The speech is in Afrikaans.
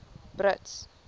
brits